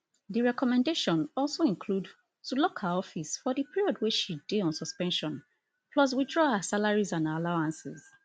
di recommendation also include to lock her office for di period wey she dey on suspension plus withdraw her salaries and allowances